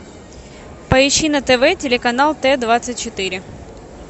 поищи на тв телеканал т двадцать четыре